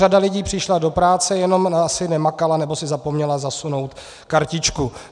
Řada lidí přišla do práce, jenom asi nemakala nebo si zapomněla zasunout kartičku.